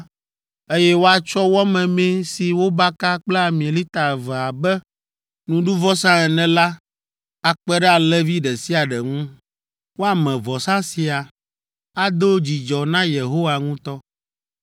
eye woatsɔ wɔ memee si wobaka kple ami lita eve abe nuɖuvɔsa ene la akpe ɖe alẽvi ɖe sia ɖe ŋu. Woame vɔsa sia; ado dzidzɔ na Yehowa ŋutɔ.